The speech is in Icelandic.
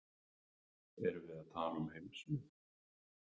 Erum við að tala um heimsmet?